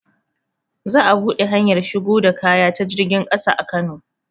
Za a buɗe hanyar shigo da kaya ta jirgin ƙasa a kano